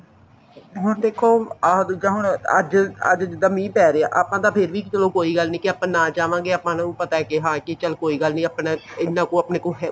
ਹੁਣ ਦੇਖੋ ਆਹ ਦੁਜਾ ਹੁਣ ਅੱਜ ਅੱਜ ਜਿਦਾਂ ਮੀਂਹ ਪੈ ਰਿਹਾ ਆਪਾਂ ਤਾਂ ਫ਼ੇਰ ਵੀ ਚਲੋ ਕੋਈ ਗੱਲ ਨੀ ਆਪਾਂ ਨਾ ਜਾਵਾਂਗੇ ਆਪਾਂ ਨੂੰ ਪਤਾ ਹੈ ਕੇ ਚਲ ਕੀ ਗੱਲ ਨੀ ਇੰਨਾ ਕੁ ਆਪਣੇ ਕੋਲ